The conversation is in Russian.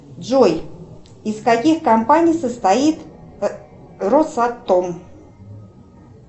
джой из каких компаний состоит росатом